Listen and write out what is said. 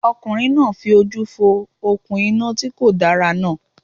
Ọkùnrin náà fi ojú fo òkun iná ti kòdára náà